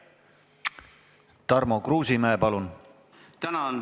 Tarmo Kruusimäe, palun!